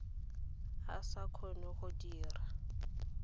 a sa kgone go dira